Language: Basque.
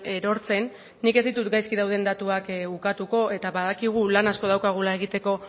erortzen nik ez ditut gaizki dauden datuak ukatuko eta badakigu lan asko daukagula egiteko